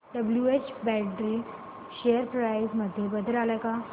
WH Brady share price मध्ये बदल आलाय का